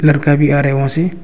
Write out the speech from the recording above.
भी आ रहे वहां से।